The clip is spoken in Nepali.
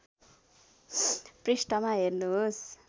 पृष्ठमा हेर्नुहोस्